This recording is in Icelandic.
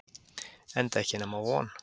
Enda ekki nema von!